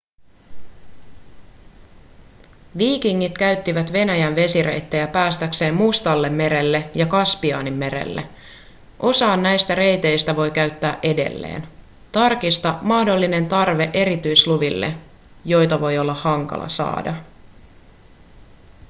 viikingit käyttivät venäjän vesireittejä päästäkseen mustallemerelle ja kaspianmerelle osaa näistä reiteistä voi käyttää edelleen tarkista mahdollinen tarve erityisluville joita voi olla hankala saada